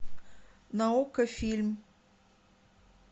на окко фильм